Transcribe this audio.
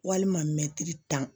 Walima mɛtiri tan